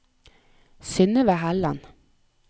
Synnøve Helland